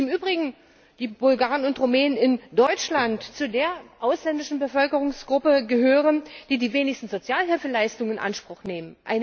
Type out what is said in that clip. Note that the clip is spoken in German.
Wie im Übrigen die Bulgaren und Rumänen in Deutschland zu der ausländischen Bevölkerungsgruppe gehören, die die wenigsten Sozialhilfeleistungen in Anspruch nimmt